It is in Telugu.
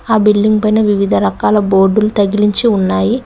ఆ బిల్డింగ్ పైన వివిధ రకాల బోర్డుల్ తగిలించి ఉన్నాయి.